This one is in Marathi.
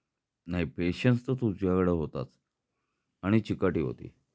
नाही पेशन्स तर तुझाकडे होताच आणि चिकाटी होती.